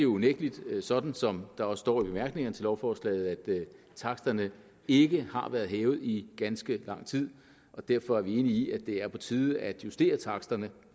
unægtelig sådan som der også står i bemærkningerne til lovforslaget at taksterne ikke har været hævet i ganske lang tid og derfor er vi enige i at det er på tide at justere taksterne